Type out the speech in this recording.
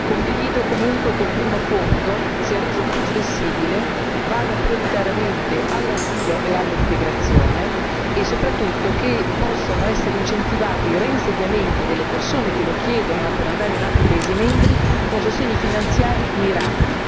3. Condivido comunque che il primo fondo sia reso più flessibile, vada prioritariamente all'asilo e all'integrazione e soprattutto che possano essere incentivati reinsediamenti delle persone che lo chiedono per andare in altri paesi membri con sostegni finanziari mirati.